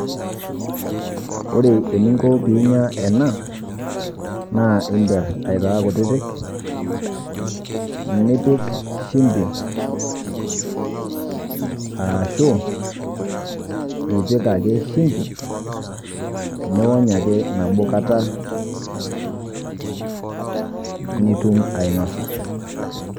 Ore eninko pee inya ena, naa iimper aitaa kutiti, nipik shimbi aashu ipik ake shimbi niwony ake nabo kata nitum ainosa.